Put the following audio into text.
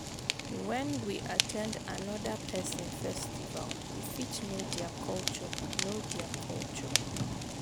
When we at ten d anoda person festival we fit know their culture know their culture